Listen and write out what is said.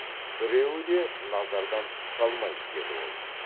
біреуі де назардан тыс қалмайды деді ол